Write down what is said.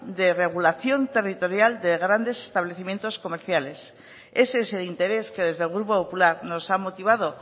de regulación territorial de grandes establecimientos comerciales ese es el interés que desde el grupo popular nos ha motivado